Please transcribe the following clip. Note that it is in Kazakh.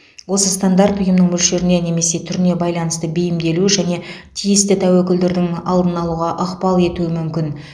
осы стандарт ұйымның мөлшеріне немесе түріне байланысты бейімделу және тиісті тәуекелдердің алдын алуға ықпал етуі мүмкін